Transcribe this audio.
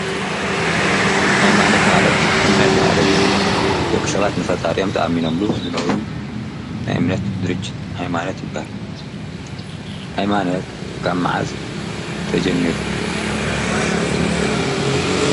ሃይማኖት ማለት እምነት ማለት እዩ፡፡ ደቂ ሰባት ንፈጣሪኦም ተኣሚኖኣምሉ ዝነብሩ ናይ እምነት ድርጅት ሃይማኖት ይባሃል፡፡ ሃይማኖት ካብ መዓዝ ተጀሚሩ?